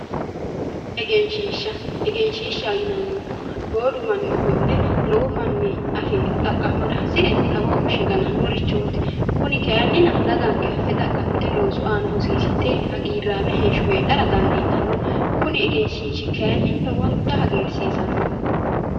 Egenshiisha Egenshiishaho yineemohu boodu manni ofolle lowo manni xaqa'mara hasire xawoho fushe ganannorichooti kuni kayinnina daganikke affe xaqa'mite loosu aana hosiissidhe hagiiraame Heesho heedhara danidiitanno kuni egenshiishshi lowontta hagirisiisanno